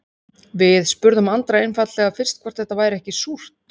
Við spurðum Andra einfaldlega fyrst hvort þetta væri ekki súrt?